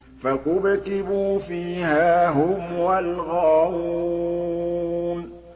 فَكُبْكِبُوا فِيهَا هُمْ وَالْغَاوُونَ